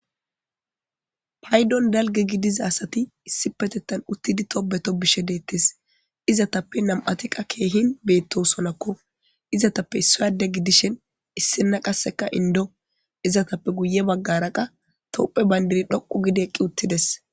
paydon dalge gidiza asati issi petettan uttidi tobeto bishe deettis izatappe nam7atiqa keehin beetto sonakko izatappe issayade gidishen issinna qasseka indo izatappe guye baggaraqa topphe bayndiri dhoqu gidi eqqi uttides